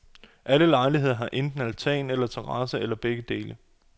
Alle lejligheder har enten altan eller terrasse eller begge dele.